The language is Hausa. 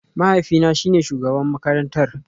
Mahaifina shine shugaban makarantara